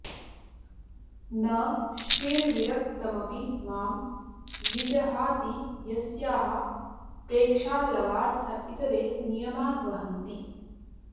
न श्रीर्विरक्तमपि मां विजहाति यस्याः प्रेक्षालवार्थ इतरे नियमान् वहन्ति